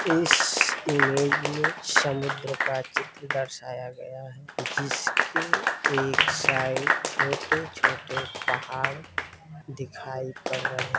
इस इमेज में समुद्र का चित्र दर्शाया गया है जिसके एक साइड छोटे छोटे पहाड़ दिखाई पड़ रहे हैं।